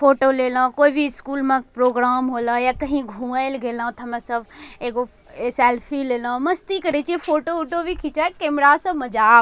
फोटो लेलो कोई भी स्कूल में प्रोग्राम होला या कहीं घूमे ले गेलो ते हमे सब सब एगो ए सेल्फी लेलो मस्ती करे छिये फोटो ऊटो भी खींचा कैमरा से मजा --